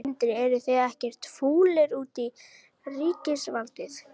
Sindri: Eruð þið ekkert fúlir út í ríkisvaldið?